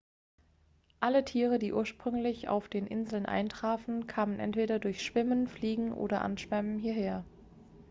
alle tiere die ursprünglich auf den inseln eintrafen kamen entweder durch schwimmen fliegen oder anschwemmen hierher